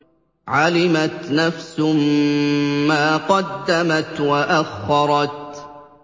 عَلِمَتْ نَفْسٌ مَّا قَدَّمَتْ وَأَخَّرَتْ